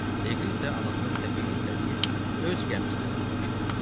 Leqri isə anasını təpiklə itələyib öz gəmisinə qayıtmışdı.